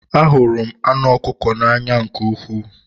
Ahụrụ m anụ ọkụkọ n'anya nke ukwuu